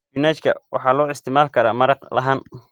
Isbinaajka waxaa loo isticmaali karaa maraq ahaan.